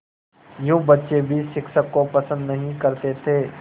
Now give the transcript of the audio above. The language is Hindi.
यूँ बच्चे भी शिक्षक को पसंद नहीं करते थे